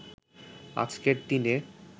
আজকের দিনে